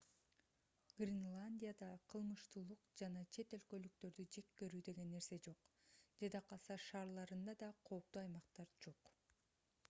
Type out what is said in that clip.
гренландияда кылмыштуулук жана чет өлкөлүктөрдү жек көрүү деген нерсе жок жада калса шаарларында да кооптуу аймактар жок